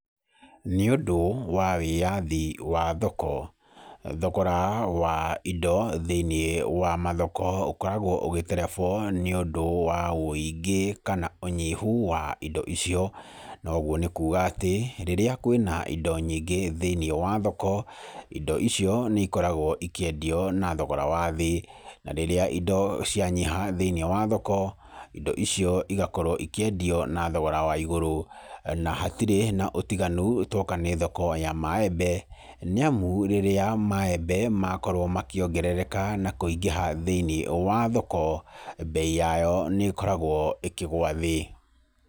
Nĩ ũndũ wa wĩyathi wa thoko, thogora wa indo thĩiniĩ wa mathoko ũkoragwo ũgĩterebwo nĩ ũndũ wa wũingĩ, kana ũnyihu wa indo icio. Noguo nĩ kuuga atĩ, rĩrĩa kwĩna indo nyingĩ thĩiniĩ wa thoko, indo icio nĩ ikoragwo ikĩendio na thogora wa thĩ. Na rĩrĩa indo cia nyiha thĩiniĩ wa thoko, indo icio igakorwo ikĩendio na thogora wa igũrũ. Na hatirĩ na ũtiganu tuoka nĩ thoko ya maembe, nĩ amũ rĩrĩa maembe makorwo makĩongerereka na kũingĩha thĩiniĩ wa thoko, bei yayo nĩ ĩkoragwo ĩkĩgwa thĩ.